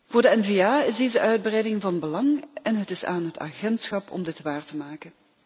Voor de NVA is deze uitbreiding van belang en het is aan het agentschap om dit waar te maken.